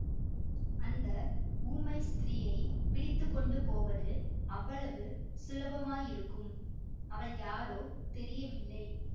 அந்த ஊமை ஸ்திரீயைப் பிடித்து கொண்டு போவது அவ்வளவு சுலபமாயிருக்கும் அவள் யாரோ தெரியவில்லை